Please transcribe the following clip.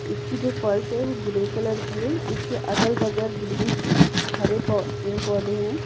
इसकी जो फर्स है वो ग्रे कलर की है इसके अगल-बगल ग्रीन हरे पेड़-पौधे हैं।